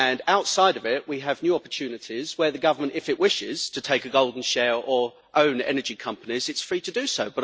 Outside of it, we have new opportunities where the government, if it wishes to take a golden share or own energy companies, will be free to do so.